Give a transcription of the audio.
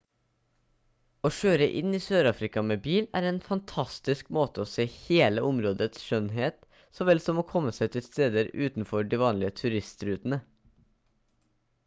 å kjøre inn i sørafrika med bil er en fantastisk måte å se hele områdets skjønnhet så vel som å komme seg til steder utenfor de vanlige turistrutene